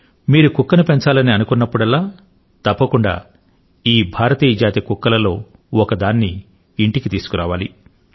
మీరు కుక్కను పెంచాలని అనుకున్నప్పుడల్లా తప్పకుండా ఈ భారతీయ జాతి కుక్కలలో ఒకదాన్ని ఇంటికి తీసుకురావాలి